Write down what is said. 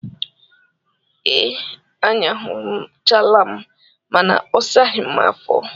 Ee, anyụchaala m mana ọ saghi m afo